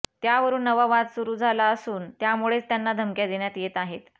त्यावरुन नवा वाद सुरू झाला असून त्यामुळेच त्यांना धमक्या देण्यात येत आहेत